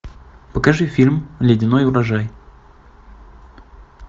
покажи фильм ледяной урожай